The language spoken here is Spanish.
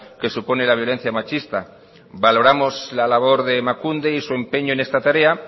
que supone la violencia machista valoramos la labor de emakunde y su empeño en esta tarea